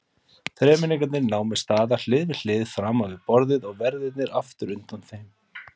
Þremenningarnir námu staðar hlið við hlið framan við borðið og verðirnir aftur undan þeim.